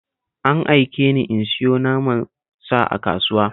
An aike ni in sayo naman sa a kasuwa